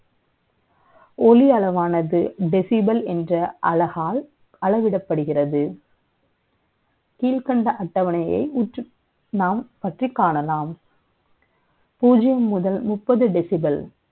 ஒளி அளவானது, decibel என்ற அழகால், அளவிடப்படுகிறது கீழ்கண்ட அட்டவணை யை ஊற்று நாம் பற்றி காணலாம். பூஜ்ஜியம் முதல் முப்பது decibel.